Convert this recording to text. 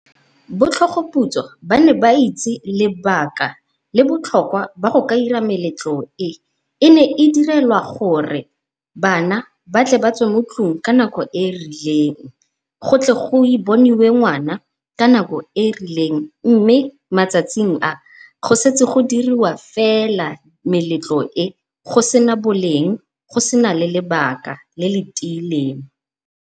Botlhogoputswa ba ne ba itse lebaka le botlhokwa jwa go dira meletlo e. E ne e direlwa gore bana ba tle batswe mo tlung ka nako e e rileng, go tle go boniwe ngwana ka nako e rileng. Mme matsatsing a setse go diriwa fela meletlo e, go sena boleng go sena le lebaka le le tiileng.